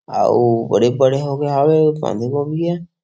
आऊ बड़े बड़े होंगे आवे बांधे गोभी ह ।